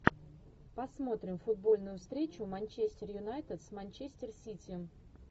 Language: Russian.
посмотрим футбольную встречу манчестер юнайтед с манчестер сити